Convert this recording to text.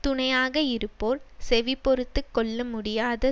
துணையாக இருப்போர் செவிபொறுத்துக் கொள்ள முடியாத